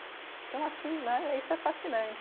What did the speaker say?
Então, assim né, isso é fascinante.